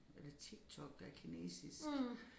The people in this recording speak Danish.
Er det TikTok der kinesisk